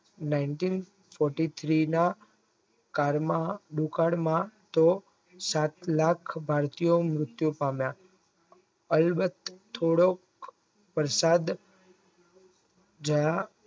Nineteen forty three માં કાળમાં દુકાળ તો સાત લાખ ભારતીય મૃત્યુ પામ્યા થોડો પરસાદ જ્યાં